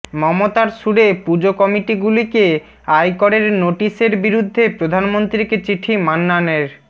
মমতার সুরে পুজো কমিটিগুলিকে আয়করের নোটিশের বিরুদ্ধে প্রধানমন্ত্রীকে চিঠি মান্নানের